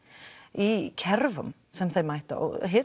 í kerfum sem þær mæta